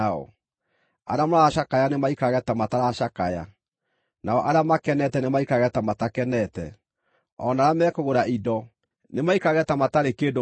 arĩa maracakaya nĩmaikarage ta mataracakaya; nao arĩa makenete nĩmaikarage ta matakenete; o na arĩa mekũgũra indo, nĩmaikarage ta matarĩ kĩndũ marĩ.